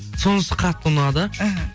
сонысы қатты ұнады іхі